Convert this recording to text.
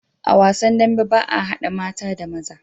A wasan dambe baa hada mata da maza